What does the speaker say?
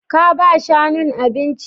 Ka ba shanun abinci?